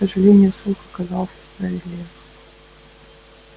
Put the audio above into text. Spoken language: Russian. к сожалению слух оказался справедлив